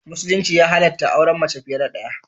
Musulunci ya halatta auren mace fiye da daya.